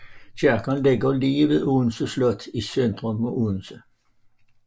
Kirken ligger lige ved Odense Slot i centrum af Odense